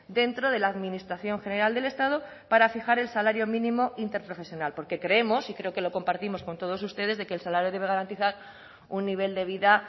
dentro de la administración general del estado para fijar el salario mínimo interprofesional porque creemos y creo que lo compartimos con todos ustedes de que el salario debe garantizar un nivel de vida